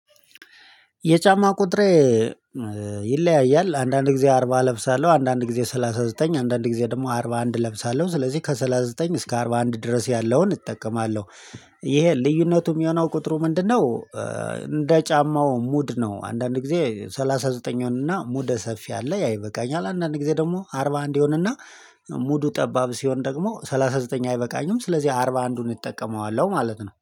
የጫማ ቁጥሬ ይለያያል አንዳንድ ጊዜ አርባ እለብሳለሁ አንዳንድ ጊዜ ሰላሳ ዘጠኝ አንዳንድ ጊዜ ደግሞ አርባ አንድ እለብሳለሁ ስለዚህ ከሠላሳ ዘጠኝ እስከ አርባ አንድ ድረስ ያለውን እጠቀማለሁ። ይሄ ልዩነቱም የሆነው ቁጥሩ ምንድነው? እንደ ጫማው ሙድ ነው አንዳንድ ጊዜ ሰላሳ ዘጠነኛው እና ሙደ ሰፊ አለ ያ ይበቃኛል። አንዳንድ ጊዜ ደግሞ አርባ አንድ ይሆንና ሙዱ ጠባብ ሲሆን ደግሞ ሰላሳ ዘጠኝ አይበቃኝም። ስለዚህ አርባ አንድዱን እጠቀመዋለሁ ማለት ነው